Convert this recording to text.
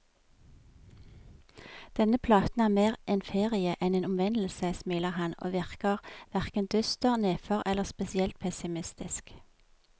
Denne platen er mer en ferie enn en omvendelse, smiler han, og virker hverken dyster, nedfor eller spesielt pessimistisk.